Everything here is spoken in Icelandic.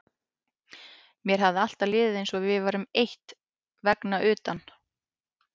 Mér hafði alltaf liðið eins og við værum eitt vegna utan